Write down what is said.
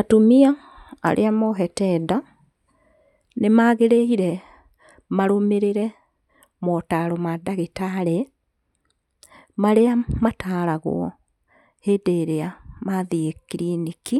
Atumia arĩa mohete nda, nĩ magĩrĩirwo marũmĩrĩre motaro ma ndagĩtarĩ marĩa mataragwo hĩndĩ ĩrĩa mathiĩ kiriniki,